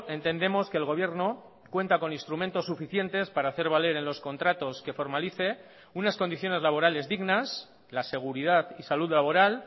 entendemos que el gobierno cuenta con instrumentos suficientes para hacer valer en los contratos que formalice unas condiciones laborales dignas la seguridad y salud laboral